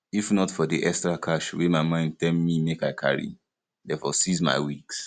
if not for the extra cash wey my mind tell me make i carry dey for seize my wigs